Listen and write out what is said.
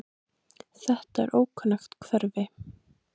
Þetta er ókunnugt umhverfi.